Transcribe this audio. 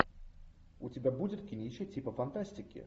у тебя будет кинище типа фантастики